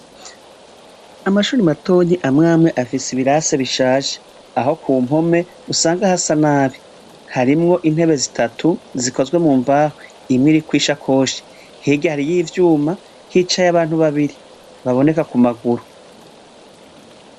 Amashuri matonyi amwe amwe afise ibirasi bishaje aho ku mpome usanga hasa nabi . Harimwo intebe zitatu zikozwe mu mbaho. Imwe iriko isakoshi. Hirya hariyo ivyuma, hicaye abantu babiri baboneka ku maguru.